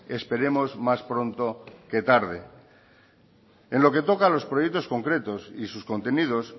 esperemos más pronto que tarde en lo que toca a los proyectos concretos y sus contenidos